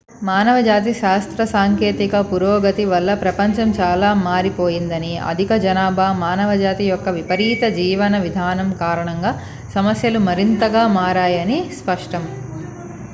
మానవజాతి శాస్త్రసాంకేతిక పురోగతి వల్ల ప్రపంచం చాలా మారిపోయిందని అధిక జనాభా మానవజాతి యొక్క విపరీత జీవన విధానం కారణంగా సమస్యలు మరింత గా మారాయని స్పష్టం